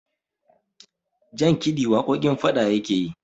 jankidi waƙoƙin fada yake yi